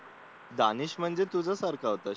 दानेश म्हणजे तुझ्यासारखा